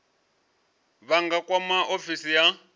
vha nga kwama ofisi ya